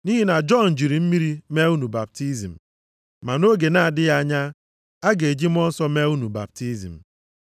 Nʼihi na Jọn jiri mmiri mee unu baptizim, ma nʼoge na-adịghị anya, a ga-eji Mmụọ Nsọ mee unu baptizim.”